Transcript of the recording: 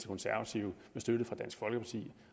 konservative med støtte fra dansk folkeparti